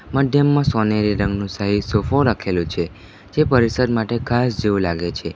મંદિરમાં સોનેરી રંગનું શાહી સોફો રાખેલો છે જે પરિસર માટે ખાસ જેવું લાગે છે.